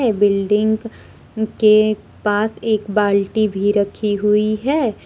ये बिल्डिंग के पास एक बाल्टी भी रखी हुई है।